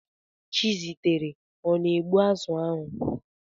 Chizitere ọ na-egbu azụ̀ ahụ?